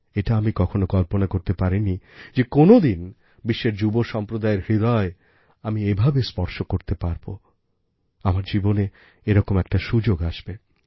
এটা আমি কখনো কল্পনাও করতে পারিনি যে কোনোদিন বিশ্বের যুবসম্প্রদায়ের হৃদয় আমি এভাবে স্পর্শ করতে পারবো আমার জীবনে এরকম একটা সুযোগ আসবে